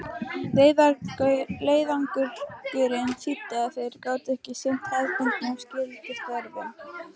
Leiðangurinn þýddi að þeir gátu ekki sinnt hefðbundnum skyldustörfum.